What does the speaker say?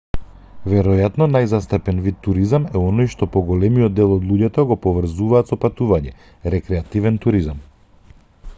веројатно најзастапен вид туризам е оној што поголемиот дел од луѓето го поврзуваат со патување рекреативен туризам